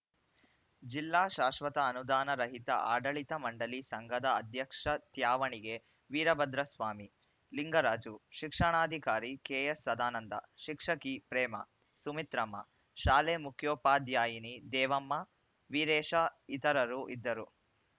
ಜಿಲ್ಲಾ ಶಾಶ್ವತ ಅನುದಾನ ರಹಿತ ಆಡಳಿತ ಮಂಡಳಿ ಸಂಘದ ಅಧ್ಯಕ್ಷ ತ್ಯಾವಣಿಗೆ ವೀರಭದ್ರ ಸ್ವಾಮಿ ಲಿಂಗರಾಜು ಶಿಕ್ಷಣಾಧಿಕಾರಿ ಕೆಎಸ್‌ಸದಾನಂದ ಶಿಕ್ಷಕಿ ಪ್ರೇಮಾ ಸುಮಿತ್ರಮ್ಮ ಶಾಲೆ ಮುಖ್ಯೋಪಾಧ್ಯಾಯಿನಿ ದೇವಮ್ಮ ವೀರೇಶ ಇತರರು ಇದ್ದರು